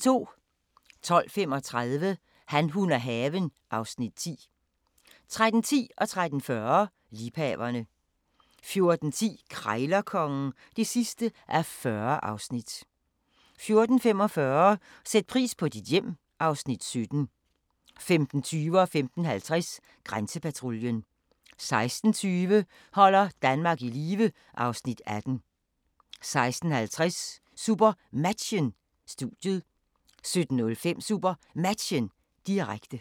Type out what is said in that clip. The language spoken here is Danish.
12:35: Han, hun og haven (Afs. 10) 13:10: Liebhaverne 13:40: Liebhaverne 14:10: Krejlerkongen (40:40) 14:45: Sæt pris på dit hjem (Afs. 17) 15:20: Grænsepatruljen 15:50: Grænsepatruljen 16:20: Holder Danmark i live (Afs. 18) 16:50: SuperMatchen: Studiet 17:05: SuperMatchen, direkte